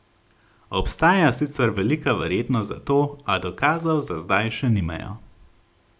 Obstaja sicer velika verjetnost za to, a dokazov za zdaj še nimajo.